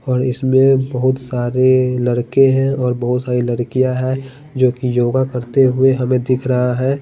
और इसमें बहुत सारे लड़के है और बहुत सारी लड़कियां है जो कि योगा करते हुए हमे दिख रहा है।